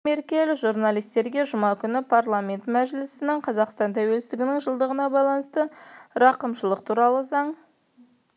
меркель журналистерге жұма күні парламент мәжілісінің қазақстан тәуелсіздігінің жылдығына байланысты рақымшылық жасау туралы заң